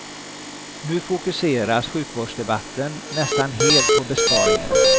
Nu fokuseras sjukvårdsdebatten nästan helt på besparingarna.